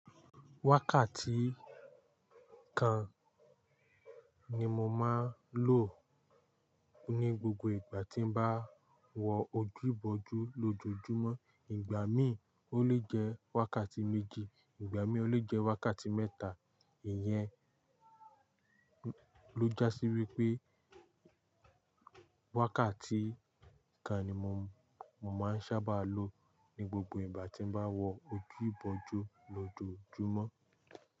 Wákàtí kan ni mo máa ń lò ní gbogbo ìgbà tí bá wọ ojú ibojú lójoojúmọ́. Ìgbà mií ò le jẹ wákàtí méjì, ìgbà mií ò le jẹ wákàtí mẹ́ta. Ìyẹn ló jásí wípé wákàtí kan ni mo, mo máa ń sábà lo ní gbogbo ìgbà tí bá wọ ojú ibojú lójoojúmọ́.